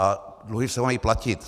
A dluhy se mají platit.